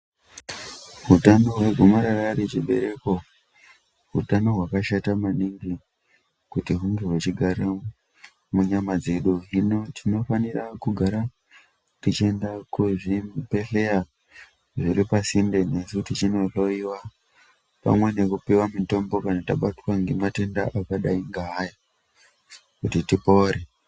Hutano wegomarara rechibereko hutano hwakashata maningi kuti hunge uchigara munyama dzedu hino tinofanira kugara tichienda kuzvibhedhlera zviri pasinde nesu tichindohloiwa pane nekupiwa mitombo akadai nematenda aya kuti tipore.